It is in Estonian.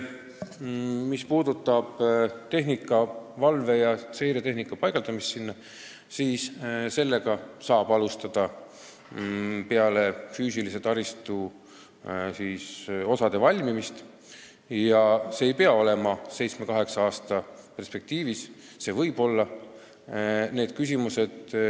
Mis puudutab valve- ja seiretehnika paigaldamist sinna, siis seda tööd saab alustada peale füüsilise taristu osade valmimist ja see ei pea kestma seitse-kaheksa aastat, aga võib kesta.